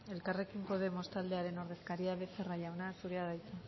elkarrekin podemos taldearen ordezkaria becerra jauna zurea da hitza